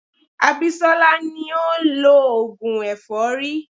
Abisola ni ó ń lọ oògùn èfọ́rí.